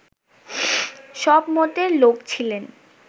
সব মতের লোক ছিলেন